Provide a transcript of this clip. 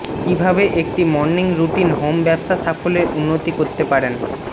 কিভাবে একটি morning routine home ব্যবসা সাফল্যের উন্নতি করতে পারেন